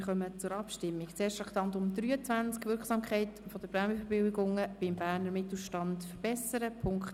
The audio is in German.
Wir kommen zu den punktweisen Abstimmungen zu Traktandum 23 betreffend die Motion «Wirksamkeit der Prämienverbilligungen beim Berner Mittelstand verbessern».